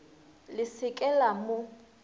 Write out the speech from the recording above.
le se ke la mo